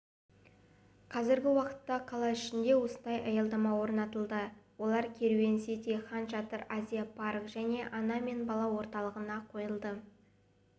қазіргі уақытта қала ішінде осындай аялдама орнатылды олар керуен сити ханшатыр азия парк және ана мен бала орталығында қойылды